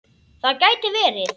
Það gæti verið